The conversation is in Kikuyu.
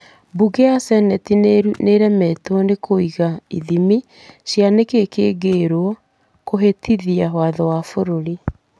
Bunge ya Seneti nĩ eremĩtũo nĩ kũiga ithimi cia nĩ kĩĩ kĩngĩrwo nĩ kũhĩtithia watho wa bũrũri.